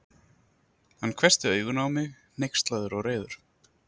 Hann hvessti augun á mig, hneykslaður og reiður.